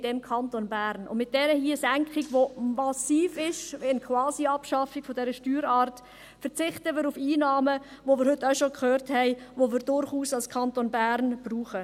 Mit dieser Senkung hier, welche massiv ist – eine Quasiabschaffung dieser Steuerart – verzichten wir auf Einnahmen, welche wir – wie wir heute schon gehört haben – als Kanton Bern durchaus brauchen.